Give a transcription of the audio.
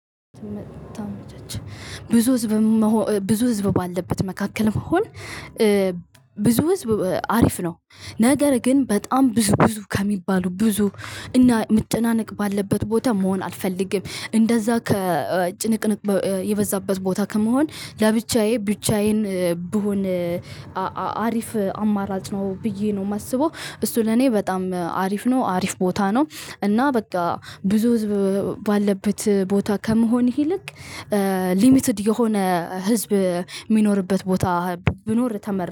ብዙ ህዝብ ብዙ ህዝብ ባለበት መካከል መሆን ብዙ ህዝብ አሪፍ ነው ነገር ግን በጣም ብዙ ብዙ ከሚባሉ ብዙ እና መጨናነቅ ባለበት ቦታ መሆን አልፈልግም እንደዛ ከጭንቅንቅ የበዛበት ቦታ ከመሆን ለብቻዬ ብቻዬን ብሆን አሪፍ አማራጭ ነው። ብዬ ነው የማስበው እሱ ለኔ በጣም አሪፍ ነው አሪፍ ቦታ ነው። እና በቃ ብዙ ህዝብ ባለበት ቦታ ከመሆንህ ይልቅ ሊሚትድ የሆነ ህዝብ የሚኖርበት ቦታ ቢኖር ተመር